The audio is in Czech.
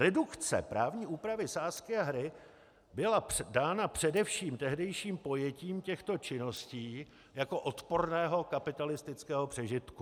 Redukce právní úpravy sázky a hry byla dána především tehdejším pojetím těchto činností jako odporného kapitalistického přežitku.